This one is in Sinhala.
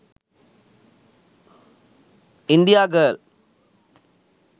india girl